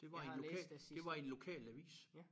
Det var i en lokal det var i en lokalavis